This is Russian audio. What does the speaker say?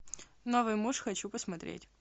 новый муж хочу посмотреть